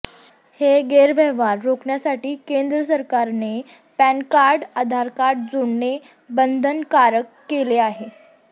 हे गैरव्यवहार रोखण्यासाठी केंद्र सरकारने पॅन कार्ड आधार कार्डशी जोडणे बंधनकारक केले आहे